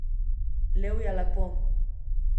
Levje lepo.